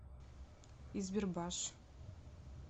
избербаш